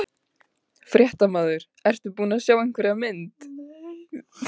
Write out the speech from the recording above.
Fréttamaður: Ertu búin að sjá einhverja mynd?